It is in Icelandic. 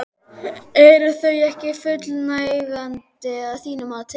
Eru þau ekki fullnægjandi að þínu mati?